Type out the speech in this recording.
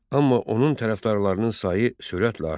Amma onun tərəfdarlarının sayı sürətlə artdı.